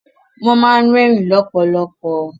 Wọ́n ma ń rẹ́ẹ̀rín lọ́pọ̀lọpọ̀.